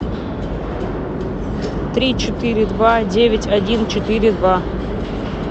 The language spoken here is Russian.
три четыре два девять один четыре два